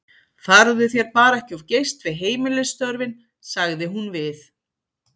Farðu þér bara ekki of geyst við heimilisstörfin, sagði hún við